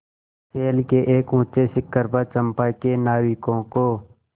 शैल के एक ऊँचे शिखर पर चंपा के नाविकों को